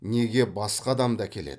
неге басқа адамды әкеледі